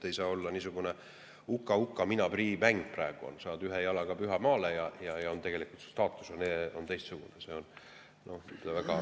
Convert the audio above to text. Ei saa olla niisugune "Uka-uka, mina prii!" mäng, et praegu saad ühe jalaga pühale maale, ja tegelikult su staatus on teistsugune.